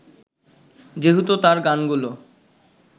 যেহেতু তাঁর গানগুলো